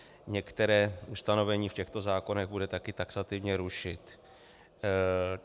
Některá ustanovení v těchto zákonech bude taky taxativně rušit.